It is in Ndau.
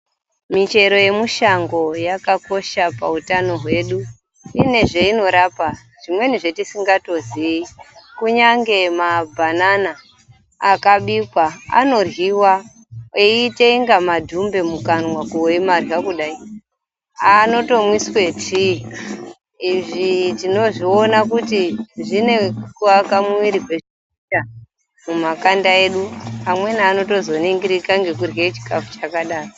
Michero yemushango yakakosha pawutano wedu. Ine zveyinorapa, zvimweni zvatisingatoziyi, kunyange mabhanana akabikwa anoryiwa eyitsenga madhumbe mukanwa oyimadlya kudayi. Anotomwiswe thiyi. Izvi tinozviwona kuti zvine ku aka mwiri mumakanda edu. Amweni anotozoningirika ngekudlye chikafu chakadaro.